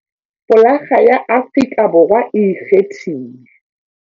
Folakga ya Afrika Borwa e ikgethile.